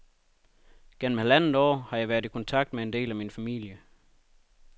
Gennem halvandet år har jeg været i kontakt med en del af min familie.